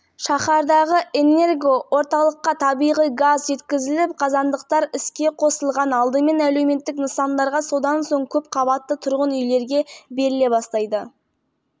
қарашаға дейін барлық нысандар толығымен жылумен қамтылуы тиіс мамандар енді тұрғындардың сервистік қызмет көрсетуші кәсіпорынмен келісімге келгені дұрыс деп есептейді